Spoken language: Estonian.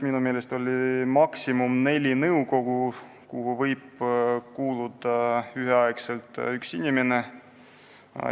Minu meelest oli maksimum neli nõukogu, kuhu inimene võib üheaegselt kuuluda.